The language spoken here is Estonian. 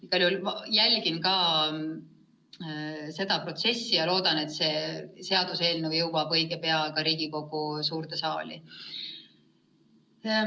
Igal juhul ma jälgin seda protsessi ja loodan, et see seaduseelnõu jõuab õige pea Riigikogu suurde saali.